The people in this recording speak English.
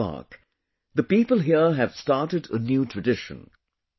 In this park, the people here have started a new tradition